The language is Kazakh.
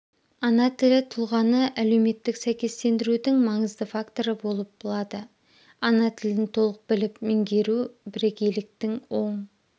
ана тілі тұлғаны әлеуметтік сәйкестендірудің маңызды факторы болып лады ана тілін толық біліп меңгеру бірегейліктің оң